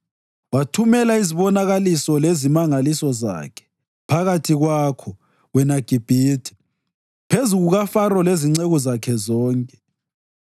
Wathumela izibonakaliso lezimangaliso zakhe phakathi kwakho, wena Gibhithe, phezu kukaFaro lezinceku zakhe zonke.